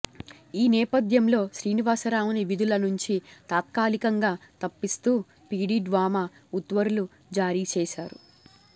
ఈ నేపథ్యంలో శ్రీనివాసరావును విధుల నుంచి తాత్కాలికంగా తప్పిస్తూ పీడీ డ్వామా ఉత్తర్వులు జారీచేశారు